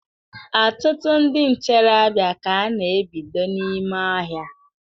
Ọtụtụ ndị ntorobịa ka a na-ebido n'ime ọhịa